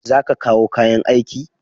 Za ka kawo kayan aiki?